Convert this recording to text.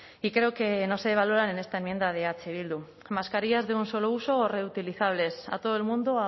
y creo que no se valoran en esta enmienda de eh bildu mascarillas de un solo uso o reutilizables a todo el mundo o